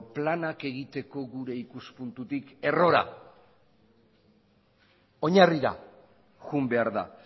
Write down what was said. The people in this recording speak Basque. planak egiteko gure ikuspuntutik errora oinarrira joan behar da